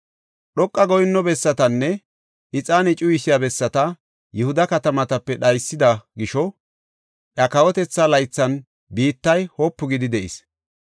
Dhoqa goyinno bessatanne ixaane cuyisiya bessata Yihuda katamatape dhaysida gisho iya kawotetha laythan biittay wopu gidi de7is.